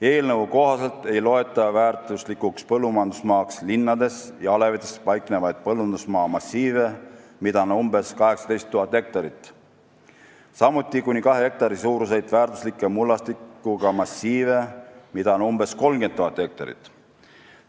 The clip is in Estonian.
Eelnõu kohaselt ei loeta väärtuslikuks põllumajandusmaaks linnades ja alevites paiknevaid põllundusmaa massiive, mida on umbes 18 000 hektarit, samuti kuni kahe hektari suuruseid väärtusliku mullastikuga massiive, mida on umbes 30 000 hektarit.